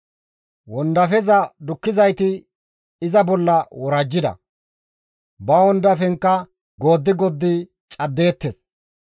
Wondafeza dukkizayti iza bolla worajjida; ba wondafenkka gooddi gooddi caddeettes.